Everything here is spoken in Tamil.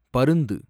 பருந்து